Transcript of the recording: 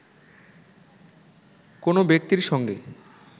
কোনো ব্যক্তির সঙ্গে